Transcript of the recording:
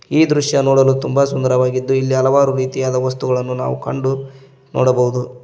ಈ ದೃಶ್ಯ ನೋಡಲು ತುಂಬ ಸುಂದರವಾಗಿದ್ದು ಇಲ್ಲಿ ಹಲವಾರು ರೀತಿಯಾದ ವಸ್ತುಗಳನ್ನು ನಾವು ಕಂಡು ನೋಡಬಹುದು.